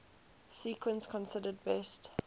sequence considered best